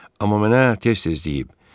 Amma mənə tez-tez deyib.